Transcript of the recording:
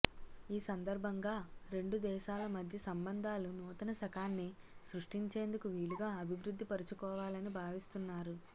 ఈ సందర్భంగా రెండు దేశాల మధ్య సంబంధాలు నూతన శకాన్ని సృష్టించేందుకు వీలుగా అభివృద్ధిపరుచుకోవాలని భావిస్తున్నారు